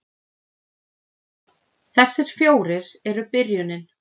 Þessir fjórir eru byrjunin